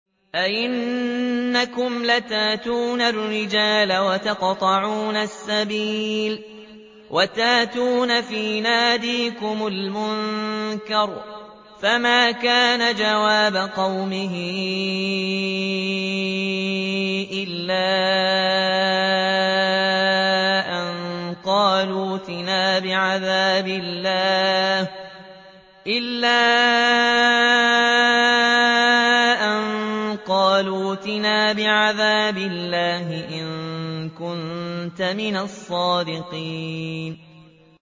أَئِنَّكُمْ لَتَأْتُونَ الرِّجَالَ وَتَقْطَعُونَ السَّبِيلَ وَتَأْتُونَ فِي نَادِيكُمُ الْمُنكَرَ ۖ فَمَا كَانَ جَوَابَ قَوْمِهِ إِلَّا أَن قَالُوا ائْتِنَا بِعَذَابِ اللَّهِ إِن كُنتَ مِنَ الصَّادِقِينَ